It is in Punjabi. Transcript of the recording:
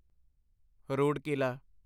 ਰੁੜਕਿਲਾ